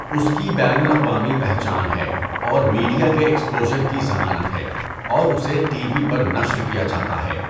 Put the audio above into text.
اس کی بین الاقوامی پہچان ہے اور میڈیا کے ایکسپوژر کی ضمانت ہے اور اسے ٹی وی پر نشر کیا جاتا ہے۔